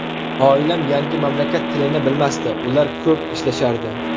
Oilam yangi mamlakat tilini bilmasdi, ular ko‘p ishlashardi.